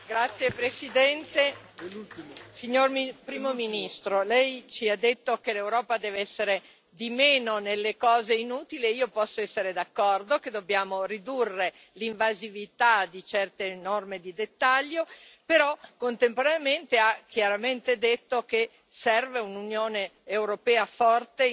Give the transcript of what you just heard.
Signor Presidente, onorevoli colleghi, signor Primo ministro, lei ci ha detto che l'Europa deve essere di meno nelle cose inutili e io posso essere d'accordo che dobbiamo ridurre l'invasività di certe norme di dettaglio però contemporaneamente ha chiaramente detto che serve un'Unione europea forte